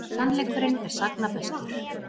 Sannleikurinn er sagna bestur.